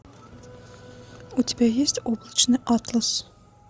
у тебя есть облачный атлас